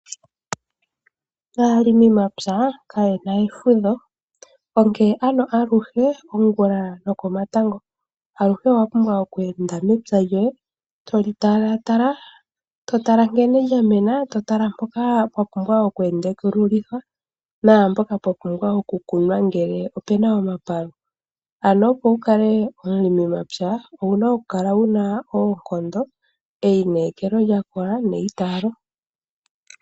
Aalimi yomapya kayena efudho, onke ano aluhe ongula nokomatango aluhe owapumbwa oku enda mepya lyoye. Toli tala tala, to tale nkele lyamena, to tala mpoka papumbwa oku endekululithwa naampoka papumbwa oku kunwa ngele opena omapalu. Ano opo wukale omulimi mapya owuna oku kala wuna oonkondo, eyi nekelo lyakola neyi taalo.